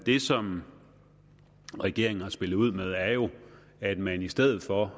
det som regeringen har spillet ud med er jo at man i stedet for